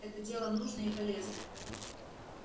это дело нужное и полезное